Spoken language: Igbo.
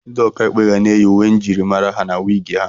Ndị ọkà ikpe ga na-eyi uwe njirimara ha na wiig ha.